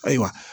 Ayiwa